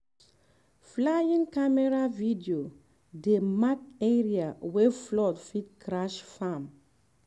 flying camera video dey mark area wey flood fit crash farm